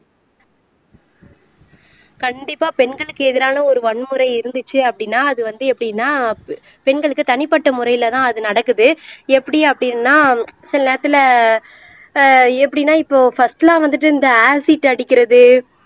கண்டிப்பா பெண்களுக்கு எதிரான ஒரு வன்முறை இருந்துச்சு அப்படீன்னா அது வந்து எப்படின்னா பெண்களுக்கு தனிப்பட்ட முறையில தான் அது நடக்குது எப்படி அப்படீன்னா சில நேரத்துல ஆஹ் எப்படின்னா இப்போ பர்ஸ்ட்லாம் வந்துட்டு இந்த ஆசிட் அடிக்கிறது